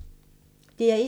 DR1